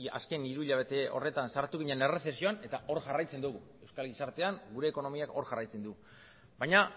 azken hiru hilabete horretan sartu ginen erresezioan eta hor jarraitzen dugu euskal gizartean gure ekonomiak hor jarraitzen du baina